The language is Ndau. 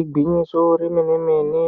Igwinyiso remene-mene,